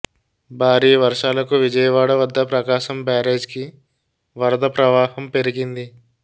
భారీ వర్షాలకు విజయవాడ వద్ద ప్రకాశం బ్యారేజ్కి వరద ప్రవాహం పెరగింది